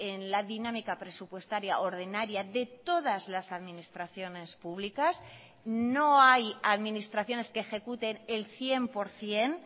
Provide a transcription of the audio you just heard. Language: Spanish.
en la dinámica presupuestaria ordinaria de todas las administraciones públicas no hay administraciones que ejecuten el cien por ciento